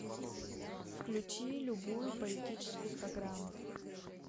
включи любую политическую программу